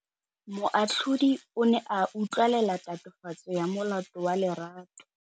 Moatlhodi o ne a utlwelela tatofatsô ya molato wa Lerato.